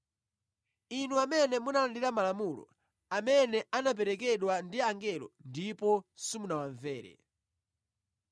Inu amene munalandira Malamulo amene anaperekedwa ndi angelo ndipo simunawamvere.”